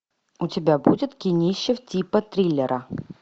у тебя будет кинище типа триллера